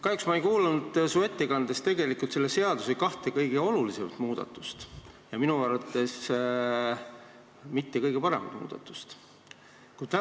Kahjuks ei kuulnud ma su ettekandest tegelikult midagi selle seaduse kahe kõige olulisema ja minu arvates mitte kõige parema muudatuse kohta.